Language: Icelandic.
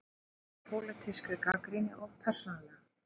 Tekur pólitískri gagnrýni of persónulega